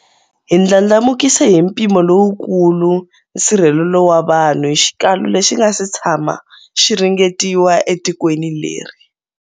Hi ndlandlamukise hi mpimo lowukulu nsirhelelo wa vanhu hi xikalu lexi nga si tshamaka xi ringetiwa etikweni leri.